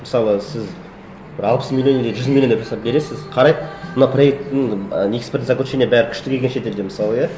мысалы сіз бір алпыс миллион или жүз миллион деп жасап бересіз қарайды мына проектінің ы экспертное заключение бәрі күшті келген шетелден мысалы иә